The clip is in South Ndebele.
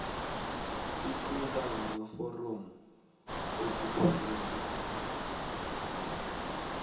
iqunta ngamaforomo okufanele